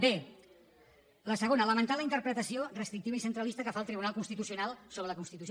bé la segona lamentar la interpretació restrictiva i centralista que fa el tribunal constitucional sobre la constitució